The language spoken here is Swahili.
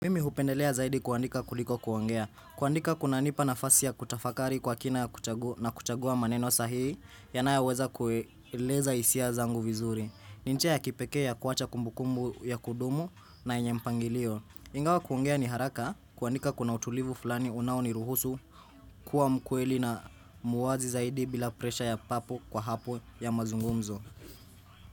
Mimi hupendelea zaidi kuandika kuliko kuongea kuandika kunanipa nafasi ya kutafakari kwa kina na kuchagua maneno sahihi yanoyoweza kueleza hisia zangu vizuri. Ni njia ya kipekee ya kuacha kumbukumbu ya kudumu na yenye mpangilio. Ingawa kuongea ni haraka kuandika kuna utulivu fulani unaoniruhusu kuwa mkweli na muwazi zaidi bila presha ya papo kwa hapo ya mazungumzo.